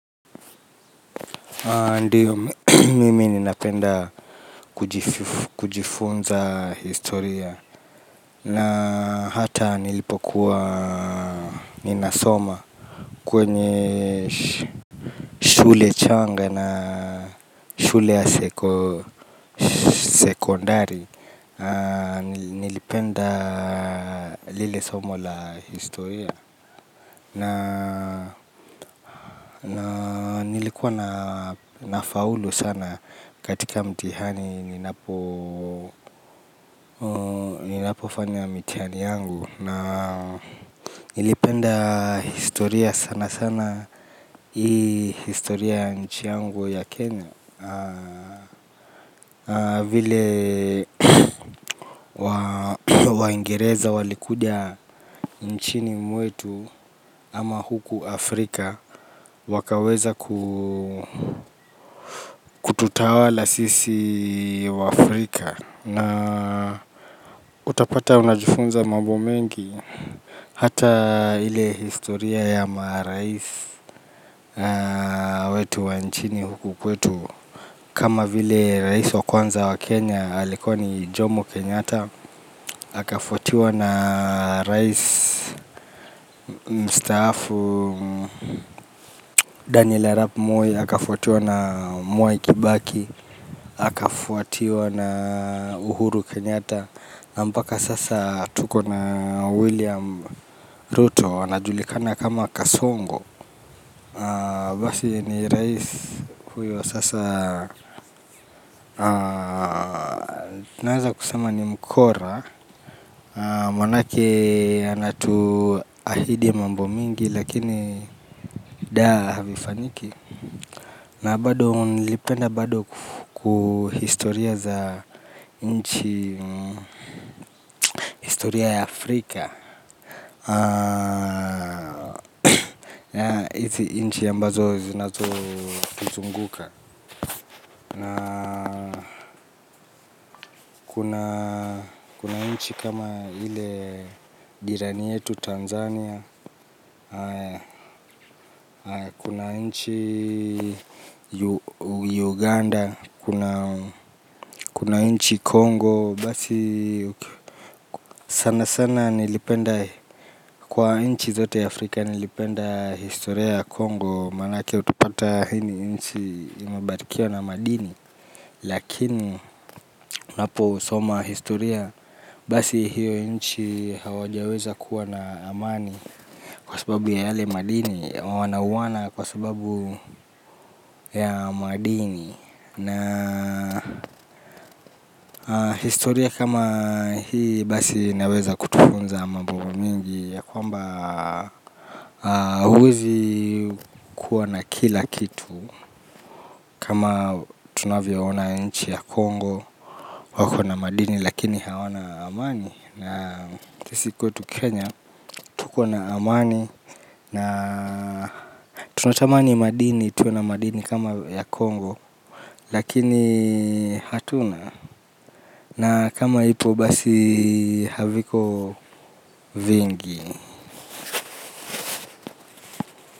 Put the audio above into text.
Ndiyo mimi ninapenda kujifunza historia. Na hata nilipokuwa ninasoma kwenye shule changa na shule ya sekondari. Nilipenda lile somo la historia. Na nilikuwa na faulu sana katika mtihani ninapo fanya mitihani yangu. Na nilipenda historia sana sana hii historia ya nchi yangu ya Kenya. Vile waingereza walikuja nchini mwetu ama huku Afrika wakaweza kututawala sisi wa Afrika na utapata unajifunza mambo mengi hata ile historia ya maraisi wetu wa nchini huku kwetu kama vile raisi wa kwanza wa Kenya alikoni Jomo Kenyata akafwatiwa na raisi mstaafu Daniel Arap moi akafotiwa na Mwai Kibaki akafuatiwa na Uhuru Kenyatta Nampaka sasa tuko na William Ruto anajulikana kama kasongo. Basi ni rais huyo sasa. Naeza kusema ni mkora. Manake anatu ahidi mambo mingi. Lakini daa havifaniki. Na bado nilipenda bado kuhistoria za nchi. Historia ya Afrika. Na hizi inchi ambazo zinazo tuzunguka. Na kuna inchi kama ile jirani yetu Tanzania. Kuna inchi Uganda. Kuna inchi Kongo basi. Sana sana nilipenda kwa inchi zote ya Afrika nilipenda historia ya Kongo. Manake utupata hini inchi imabarikiwa na madini. Lakini unapo soma historia basi hiyo inchi hawajaweza kuwa na amani kwa sababu ya yale madini. Wanauwana kwa sababu ya madini. Na historia kama hii basi naweza kutufunza mambomo mingi ya kwamba huezi kua na kila kitu. Kama tunavyo ona nchi ya Kongo. Wako na madini lakini hawana amani. Na sisi kwetu Kenya. Tuko na amani. Na tunatamani madini. Tuna madini kama ya Kongo. Lakini hatuna. Na kama ipo basi haviko vingi.